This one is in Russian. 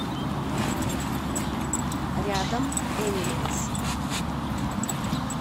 рядом энималз